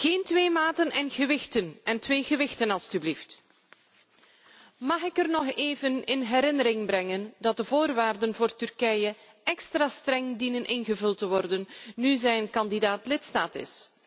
Geen twee maten en twee gewichten, alstublieft. Mag ik nog even in herinnering brengen dat de voorwaarden voor Turkije extra streng dienen ingevuld te worden nu het een kandidaat lidstaat is?